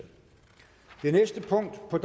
på